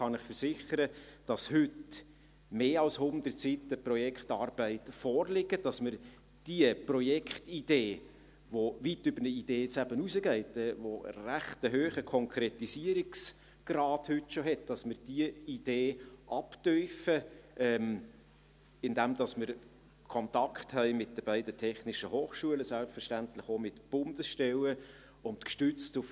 Ich kann Ihnen versichern, dass heute mehr als 100 Seiten Projektarbeit vorliegen und dass wir die Projektidee, die weit über eine Idee hinausgeht und schon heute einen recht hohen Konkretisierungsgrad aufweist, «abtiefen», indem wir mit den beiden technischen Hochschulen und selbstverständlich auch mit Bundesstellen in Kontakt stehen.